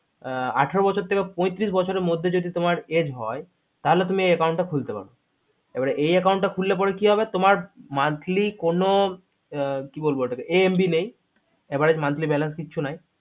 আঠারো বছর থেকে পঁয়তিরিশ বছরের মধ্যে যদি তোমার age হয় তাহলে তুমি এই account টা খুলতে পারবে এবারে এই account টা খুললে পারে কি হবে monthly কোন AMB নেই average monthly balance কিচ্ছু নাই